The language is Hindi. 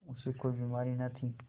उसे कोई बीमारी न थी